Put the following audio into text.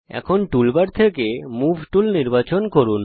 এখন টুলবার থেকে move tool নির্বাচন করুন